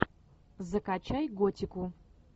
закачай готику